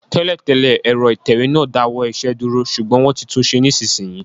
Tẹ́lẹ̀ tẹ́lẹ̀, ẹ̀rọ ìtẹ̀wé náà dá ọwọ́ iṣẹ́ dúró, ṣùgbọ́n wọ́n ti tunṣe nísinsìnyí